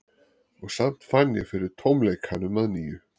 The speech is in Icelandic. Og samt fann ég fyrir tómleikanum að nýju.